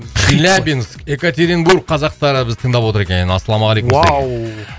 челябинск екатеринбург қазақтары бізді тыңдап отыр екен ассалаумағалейкум уау